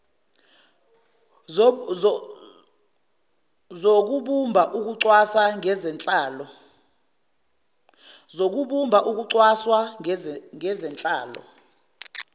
zobumba ukucwaswa ngezenhlalo